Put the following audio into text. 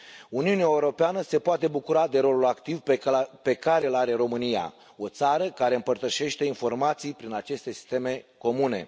Uniunea Europeană se poate bucura de rolul activ pe care îl are România, o țară care împărtășește informații prin aceste sisteme comune.